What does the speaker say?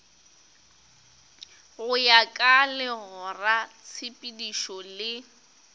go ya ka legoratshepetšo le